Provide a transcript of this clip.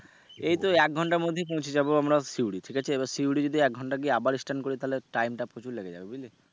এই তো এক ঘণ্টার মধ্যেই পৌছে যাবো আমরা শিউরি ঠিক আছে এবার শিউরি যদি একঘন্টায় গিয়ে আবার stand করি তাহলে time টা প্রচুর লেগে যাবে বুঝলি।